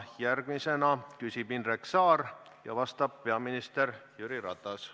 Järgmisena küsib Indrek Saar ja vastab peaminister Jüri Ratas.